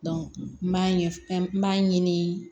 n b'a ɲɛ n b'a ɲini